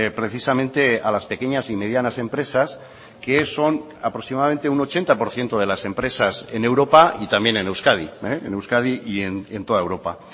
precisamente a las pequeñas y medianas empresas que son aproximadamente un ochenta por ciento de las empresas en europa y también en euskadi en euskadi y en toda europa